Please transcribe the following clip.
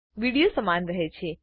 video સમાન રહે છે